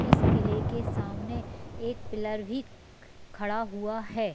इस किले के सामने एक पिल्लर भी खड़ा हुआ है।